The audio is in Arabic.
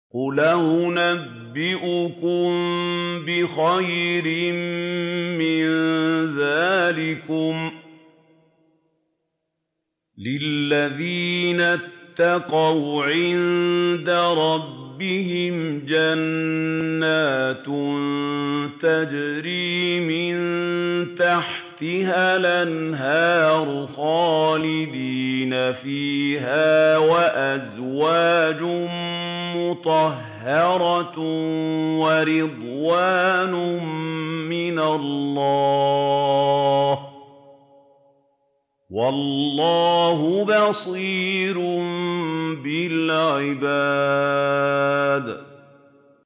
۞ قُلْ أَؤُنَبِّئُكُم بِخَيْرٍ مِّن ذَٰلِكُمْ ۚ لِلَّذِينَ اتَّقَوْا عِندَ رَبِّهِمْ جَنَّاتٌ تَجْرِي مِن تَحْتِهَا الْأَنْهَارُ خَالِدِينَ فِيهَا وَأَزْوَاجٌ مُّطَهَّرَةٌ وَرِضْوَانٌ مِّنَ اللَّهِ ۗ وَاللَّهُ بَصِيرٌ بِالْعِبَادِ